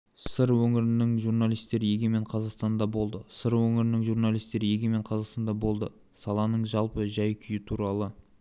сыр өңірінің журналистері егемен қазақстанда болды сыр өңірінің журналистері егемен қазақстанда болды саланың жалпы жай-күйі туралы